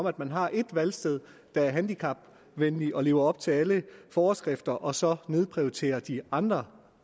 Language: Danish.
at man har et valgsted der er handicapvenligt og som lever op til alle forskrifter og så nedprioritere de andre